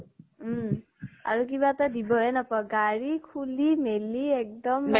উম। আৰু কিবা এটা দিব হে নাপাওঁ, গাড়ী খুলি মেলি এক্দম